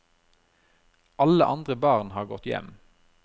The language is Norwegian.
Alle andre barn har gått hjem.